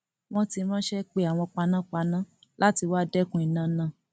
wọn ti ránṣẹ pe àwọn àwọn panápaná láti wáá dẹkun iná náà